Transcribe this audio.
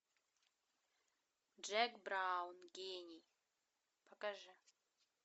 джек браун гений покажи